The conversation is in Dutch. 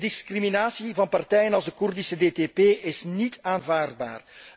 De discriminatie van partijen zoals de Koerdische DTP is niet aanvaardbaar.